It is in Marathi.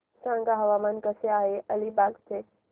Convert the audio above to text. सांगा हवामान कसे आहे अलिबाग चे